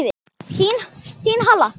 Þín, Halla.